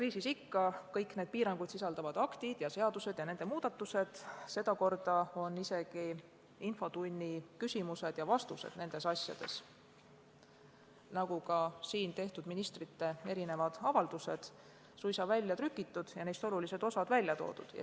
Minul on kõik need piiranguid sisaldavad aktid ja seadused ning nende muudatused, sedakorda isegi asjakohased infotunni küsimused ja vastused, nagu ka ministrite siin tehtud avaldused suisa välja trükitud ja neist olulised kohad esile toodud.